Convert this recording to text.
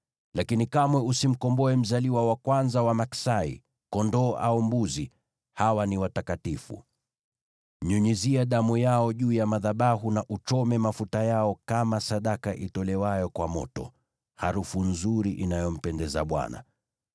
“Lakini kamwe usimkomboe mzaliwa wa kwanza wa maksai, kondoo au mbuzi; hawa ni watakatifu. Nyunyizia damu yao juu ya madhabahu na uchome mafuta yao kama sadaka itolewayo kwa moto, harufu nzuri inayompendeza Bwana .